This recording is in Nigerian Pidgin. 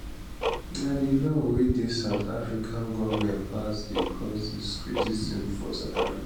na di law wey di south african goment pass dey cause dis criticism for south africa